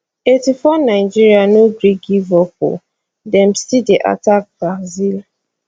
eighty four nigeria no gree give up o dem still dey attack brazil